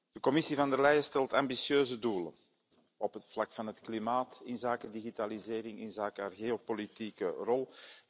De Commissie von der Leyen stelt ambitieuze doelen op het vlak van het klimaat, inzake digitalisering, inzake haar geopolitieke rol.